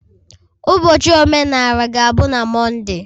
Ụbọchị omenala ga-abụ na Monday.